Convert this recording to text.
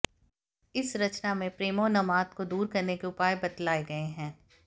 इस रचना में प्रेमोन्माद को दूर करने के उपाय बतलाए गए हैं